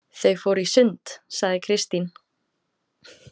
Þau fóru í sund, sagði Kristín.